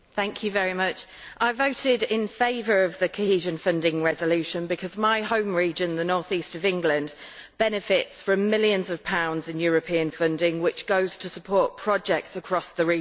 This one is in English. Mr President, I voted in favour of the cohesion funding resolution because my home region, the North East of England, benefits from millions of pounds in European funding which goes to support projects across the region.